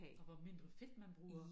Og hvor mindre fedt man bruger